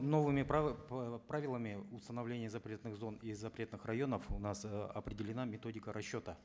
новыми э правилами установления запретных зон и запретных районов у нас э определена методика расчета